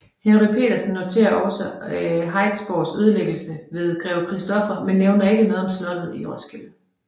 Henry Petersen noterer også Harritsborgs ødelæggelse ved Grev Christoffer men nævner ikke noget slot i Roskilde